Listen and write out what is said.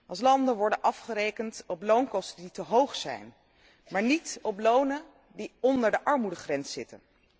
Als landen worden afgerekend op loonkosten die te hoog zijn, maar niet op lonen die onder de armoedegrens zitten.